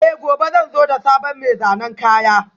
Eh, gobe zan zo da sabon mai zanen kaya